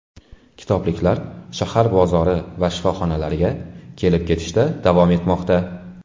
Kitobliklar shahar bozori va shifoxonalariga kelib-ketishda davom etmoqda.